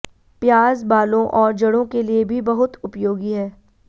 प्याज बालों और जड़ों के लिए भी बहुत उपयोगी है